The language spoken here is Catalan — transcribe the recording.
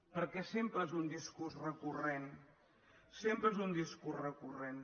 perquè sempre és un discurs recurrent sempre és un discurs recurrent